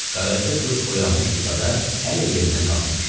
Qaraca qız oyanmışdısa da hələ yerindən qalxmamışdı.